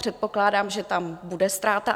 Předpokládám, že tam bude ztráta.